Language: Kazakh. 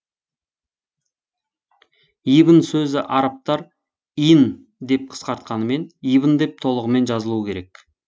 ибн сөзі арабтар ин деп қысқартқанымен ибн деп толығымен жазылуы керек